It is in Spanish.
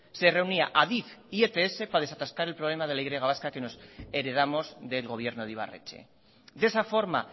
se reunía adif y ets para desatascar el problema de la y vasca que heredamos del gobierno de ibarretxe de esa forma